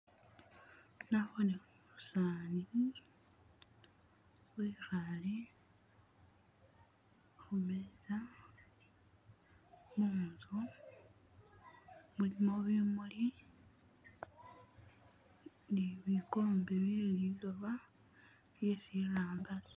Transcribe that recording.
nabone umusaani wehale humeza munzu mulimo bimuli ni bigombe bye'liloba byesirangasi